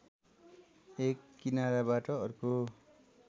एक किनाराबाट अर्को